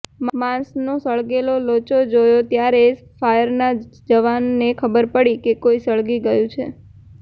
માંસનો સળગેલો લોચો જોયો ત્યારે ફાયરના જવાનને ખબર પડી કે કોઈ સળગી ગયું છે